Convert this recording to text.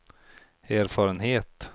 erfarenhet